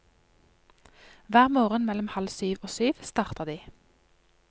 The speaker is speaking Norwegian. Hver morgen mellom halv syv og syv starter de.